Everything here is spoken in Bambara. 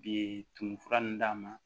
Bi tumu fura nunnu d'a ma